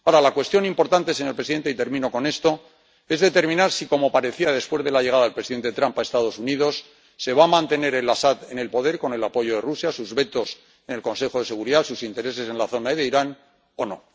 Ahora, la cuestión importante, señor presidente, y termino con esto, es determinar si, como parecía después de la llegada del presidente Trump a los Estados Unidos, se va a mantener Al Asad en el poder con el apoyo de Rusia, sus vetos en el Consejo de Seguridad, sus intereses en la zona de Irán, o no.